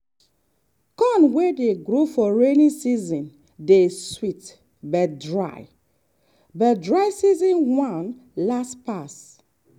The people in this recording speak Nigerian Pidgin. corn wey grow for rainy season dey sweet but dry but dry season one last pass.